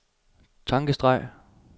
tankestreg